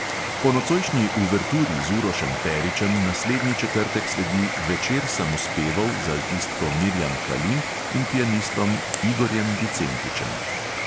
Po nocojšnji uverturi z urošem peričem naslednji četrtek sledi večer samospevov z altistko mirjam kalin in pianistom igorjem vicentičem.